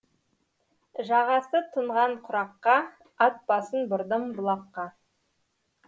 жағасы тұнған құраққа ат басын бұрдым бұлаққа